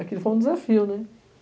Aquilo foi um desafio, né?